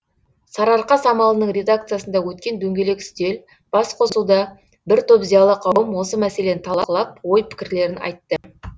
сарыарқа самалының редакциясында өткен дөңгелек үстел бас қосуда бір топ зиялы қауым осы мәселені талқылап ой пікірлерін айтты